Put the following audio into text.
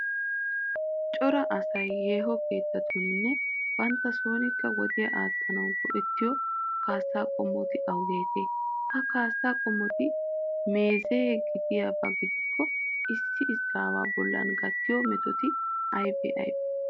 Cora asay yeeho keettatuuninne bantta sonkka wodiya aattanawu go"ettiyo kaassaa qommoti awugeetee? Ha kaassati meeze gidiyaba gidikko issi izaawu bollan gattiyo mitotic aybee aybee?